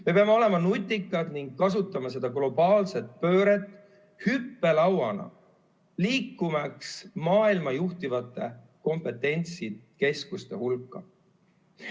Me peame olema leidlikud ning kasutama seda globaalset pööret hüppelauana, liikumaks maailma juhtivate kompetentsikeskuste hulka.